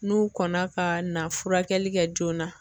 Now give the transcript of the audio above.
N'u kɔnna ka na furakɛli kɛ joona.